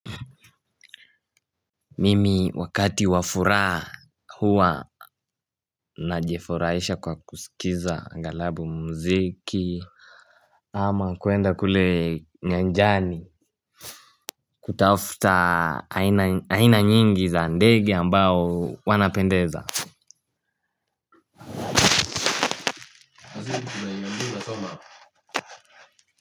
Mimi wakati wa furaha huwa najifuraisha kwa kusikiza angalabu mziki. Ama kwenda kule nyanjani. Kutafta aina nyingi za ndege ambao wanapendeza.